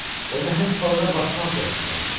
O nəhəng balığa baxmaq belə istəmirdi.